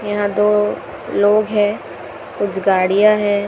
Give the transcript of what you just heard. यहां दो लोग हैं कुछ गाड़ियां है।